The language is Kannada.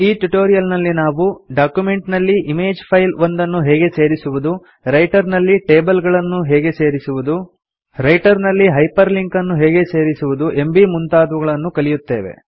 ಈ ಟ್ಯುಟೋರಿಯಲ್ನಲ್ಲಿ ನಾವು ಡಾಕ್ಯುಮೆಂಟ್ ನಲ್ಲಿ ಇಮೇಜ್ ಫೈಲ್ ಒಂದನ್ನು ಹೇಗೆ ಸೇರಿಸುವುದು ರೈಟರ್ ನಲ್ಲಿ ಟೇಬಲ್ ಗಳನ್ನು ಹೇಗೆ ಸೇರಿಸುವುದು ರೈಟರ್ ನಲ್ಲಿ ಹೈಪರ್ ಲಿಂಕನ್ನು ಹೇಗೆ ಸೇರಿಸುವುದು ಎಂಬೀ ಮುಂತಾದವುಗಳನ್ನು ಕಲಿಯುತ್ತೇವೆ